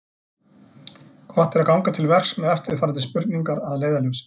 Gott er ganga til verks með eftirfarandi spurningar að leiðarljósi: